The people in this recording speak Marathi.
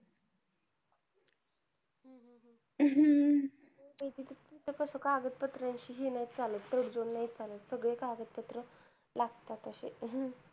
हम्म तिथं कसं कागदपत्रांशी हे नाही चालत, तडजोड नाही चालत. सगळे कागदपत्र लागतातंच अशे.